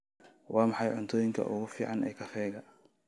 Waa maxay cuntooyinka ugu fiican ee kafeega?